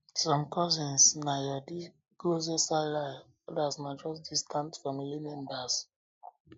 some cousins na your na your closest allies others na just distant family members